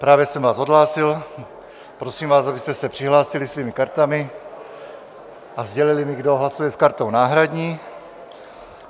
Právě jsem vás odhlásil, prosím vás, abyste se přihlásili svými kartami a sdělili mi, kdo hlasuje s kartou náhradní.